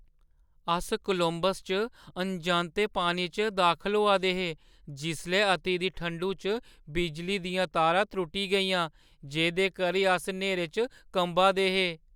अस कोलंबस च अनजांते पानी च दाखल होआ दे हे जिसलै अति दी ठंडु च बिजली दियां तारां त्रुट्टी गेइयां, जेह्दे करी अस न्हेरे च कंबा दे हे।